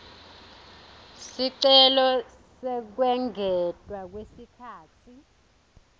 sicelo sekwengetwa kwesikhatsi